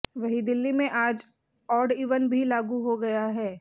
वहीं दिल्ली में आज ऑड ईवन भी लागू हो गया है